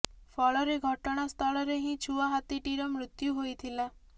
ଫଳରେ ଘଟଣା ସ୍ଥଳରେ ହିଁ ଛୁଆ ହାତୀଟିର ମୃତ୍ୟୁ ହୋଇଥିଲା